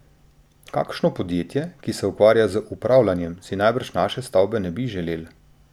Kakšno podjetje, ki se ukvarja z upravljanjem, si najbrž naše stavbe ne bi želel.